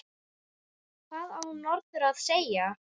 Hvað á norður að segja?